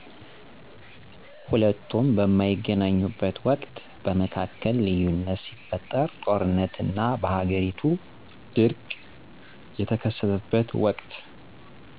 ሁለቱም በማይገናኙበት ወቅት በመካከል ልዩነት ሲፈጠር ጦርነት እና በሃገሪቱ ድርቅ ቀተከሰተበት ወቅት